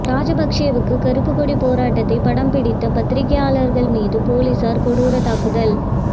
ராஜபக்சேவுக்கு கருப்புக்கொடி போராட்டத்தை படம் பிடித்த பத்திரிக்கையாளர்கள் மீது போலீசார் கொடூர தாக்குதல்